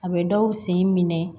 A bɛ dɔw sen minɛ